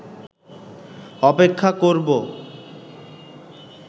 অপেক্ষা করবো